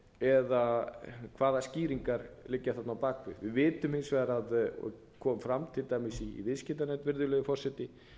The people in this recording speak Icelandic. eða hvaða skýringar liggja þarna á bak við við vitum hins vegar og kom fram til dæmis i viðskiptanefnd virðulegur forseti